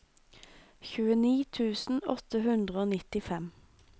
tjueni tusen åtte hundre og nittifem